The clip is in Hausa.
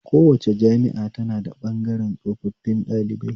Kowace jami'a tana da ɓabgaren tsofafin ɗalibai